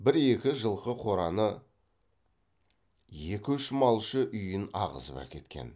бір екі жылқы қораны екі үш малшы үйін ағызып әкеткен